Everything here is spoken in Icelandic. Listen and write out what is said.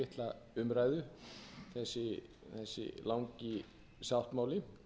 hefur fengið mjög litla umræðu þessi langi sáttmáli